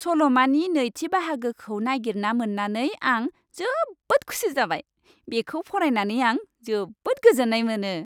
सल'मानि नैथि बाहागोखौ नागिरना मोन्नानै आं जोबोद खुसि जाबाय। बेखौ फरायनानै आं जोबोद गोजोन्नाय मोनो।